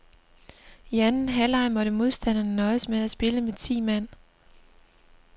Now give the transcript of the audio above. I anden halvleg måtte modstanderne nøjes med at spille med ti mand.